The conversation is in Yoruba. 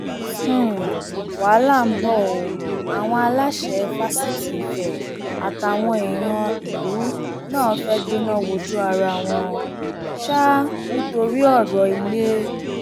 um wàhálà ńbọ o àwọn aláṣẹ fásitì ife àtàwọn èèyàn ìlú náà fẹẹ gbẹná wojú ara wọn um nítorí ọrọ ilé